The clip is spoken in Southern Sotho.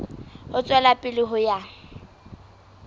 ho tswela pele ho ya